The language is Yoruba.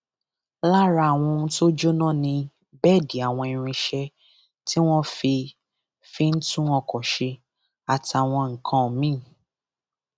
lára àwọn ohun tó jóná ni bẹẹdì àwọn irinṣẹ tí wọn fi fi ń tún ọkọ ṣe àtàwọn nǹkan mìín